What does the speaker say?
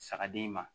Saga d'i ma